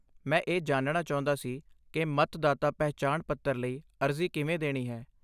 ਮੈਂ ਇਹ ਜਾਣਨਾ ਚਾਹੁੰਦਾ ਸੀ ਕਿ ਮਤਦਾਤਾ ਪਹਿਚਾਣ ਪੱਤਰ ਲਈ ਅਰਜ਼ੀ ਕਿਵੇਂ ਦੇਣੀ ਹੈ।